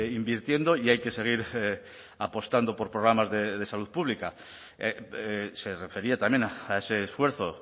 invirtiendo y hay que seguir apostando por programas de salud pública se refería también a ese esfuerzo